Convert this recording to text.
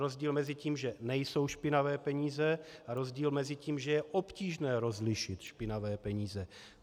Rozdíl mezi tím, že nejsou špinavé peníze, a rozdíl mezi tím, že je obtížné rozlišit špinavé peníze.